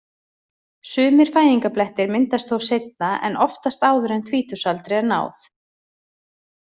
Sumir fæðingarblettir myndast þó seinna en oftast áður en tvítugsaldri er náð.